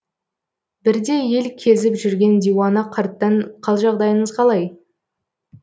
бірде ел кезіп жүрген диуана қарттан қал жағдайыңыз қалай